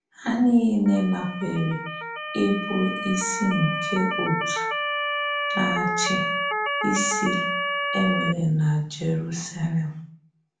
Há niile nàkwèrè íbù ísì nke òtù na-áchì ísì è nwerè na Jerúsalém.